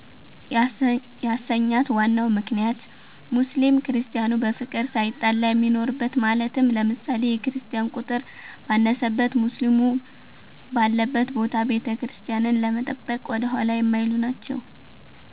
ያሰኛት ዋናው ምክንያት ሙስሊም ክርስቲያኑ በፍቅር ሳይጣላ የሚኖርበት ማለትም ለምሳሌ፦ የክርስቲያን ቁጥር ባነሰበት ሙስሊም ባለበት ቦታ ቤተክርስቲያንን ለመጠበቅ ወደኋላ የማይሉ ናቸዉ።